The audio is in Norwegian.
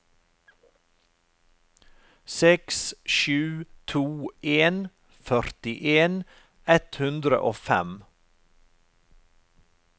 seks sju to en førtien ett hundre og fem